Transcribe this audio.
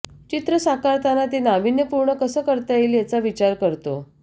चित्र साकारताना ते नावीन्यपूर्ण कसं करता येईल याचा विचार करतो